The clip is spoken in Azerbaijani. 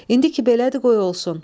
İndi ki belədir qoy olsun.